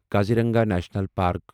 Kaziranga national park